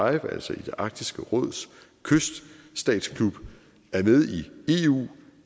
altså arktisk råds kyststatsklub er med i eu